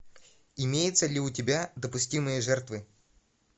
имеется ли у тебя допустимые жертвы